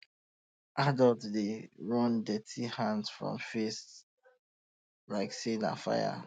adults dey um run dirty hand from face like say na fire